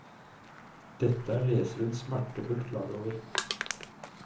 Dette er leseren smertefullt klar over.